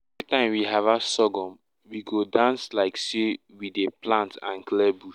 every time we harvest sorghum we go dance like say we dey plant and clear bush.